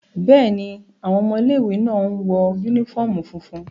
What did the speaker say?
Bẹ́ẹ̀ni, awọn ọmọ ile-iwe náa ǹ wọ unifọmú funfun